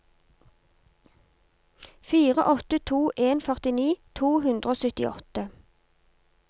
fire åtte to en førtini to hundre og syttiåtte